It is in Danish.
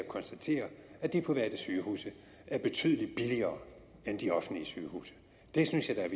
konstatere at de private sygehuse er betydelig billigere end de offentlige sygehuse det synes jeg